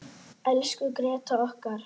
Elsku Gréta okkar.